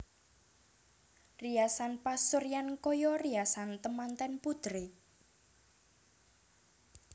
Riasan pasuryan kaya riasan temanten putri